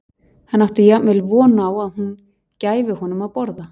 Hann átti jafnvel von á að hún gæfi honum að borða.